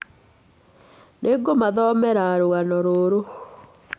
Nĩ ngũmathomera rũgano rũũ.